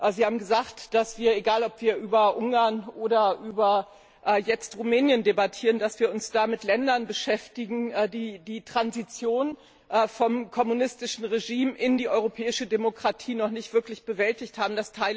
Sie haben gesagt, dass wir egal ob wir über Ungarn oder Rumänien debattieren uns mit Ländern beschäftigen, die die Transition vom kommunistischen Regime in die europäische Demokratie noch nicht wirklich bewältigt haben.